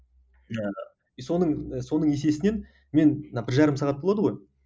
жаңағы и соның соның есесінен мен бір жарым сағат болады ғой